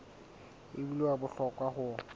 e bile wa bohlokwa ho